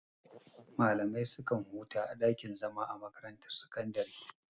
Malamai su kan huta a ɗakin zama a makarantar sakandare.